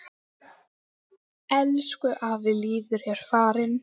Elsku afi Lýður er farinn.